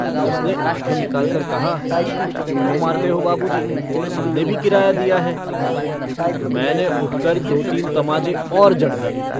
उसने आँखें निकाल कर कहा - क्यों मारते हो बाबूजी? हमने भी किराया दिया है। मैंने उठकर दो-तीन तमाचे और जड़ दिए।